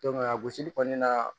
a gosili kɔni na